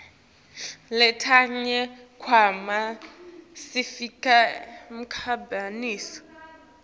letinye tikhwama sifaka timphahlanyato